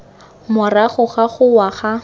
morago ga go wa ga